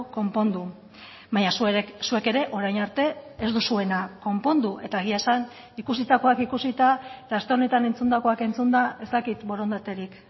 konpondu baina zuek ere orain arte ez duzuena konpondu eta egia esan ikusitakoak ikusita eta aste honetan entzundakoak entzunda ez dakit borondaterik